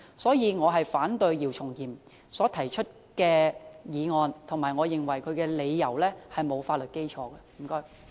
所以，我反對姚松炎議員提出的議案，而且我認為其理由並無法律基礎。